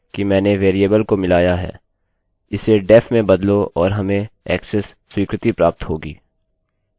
इसे def में बदलो और हमें ऐक्सेस स्वीकृति प्राप्त होगी